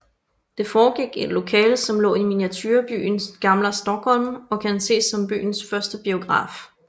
Det foregik i et lokale som lå i miniaturebyen Gamla Stockholm og kan ses som byens første biograf